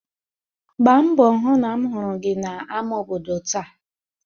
gbaa mbọ hụ na ahụrụ m gị n'ámá obodo taa